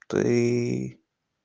ты